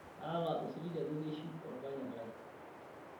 kaata osiligi ajo keishiu olpayian lai